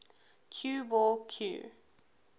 cue ball cue